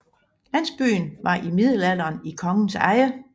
Landsbyen var i middelalderen i kongens eje